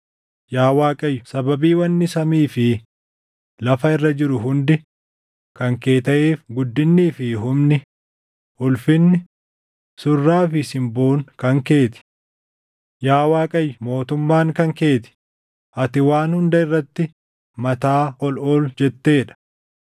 Yaa Waaqayyo sababii wanni samii fi lafa irra jiru hundi kan kee taʼeef guddinnii fi humni, ulfinni, surraa fi simboon kan kee ti. Yaa Waaqayyo mootummaan kan kee ti; ati waan hunda irratti mataa ol ol jettee dha.